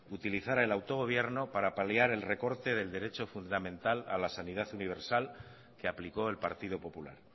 utilizara el autogobierno para paliar el recorte del derecho fundamental a la sanidad universal que aplicó el partido popular